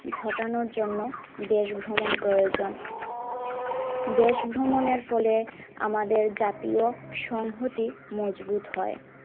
ঘটানোর জন্য দেশ ভ্রমণ প্রয়োজন, দেশ ভ্রমণের ফলে আমাদের জাতীয় সংহতি মজবুত হয়।